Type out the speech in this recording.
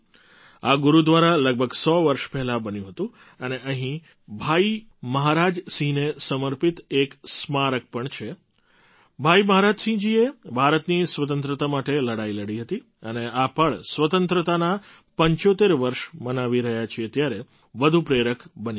આ ગુરુદ્વારા લગભગ સો વર્ષ પહેલાં બન્યું હતું અને અહીં ભાઈ મહારાજ સિંહને સમર્પિત એક સ્મારક પણ છે ભાઈ મહારાજસિંહજીએ ભારતની સ્વતંત્રતા માટે લડાઈ લડી હતી અને આ પળ સ્વતંત્રતાનાં ૭૫ વર્ષ મનાવી રહ્યાં છીએ ત્યારે વધુ પ્રેરક બની જાય છે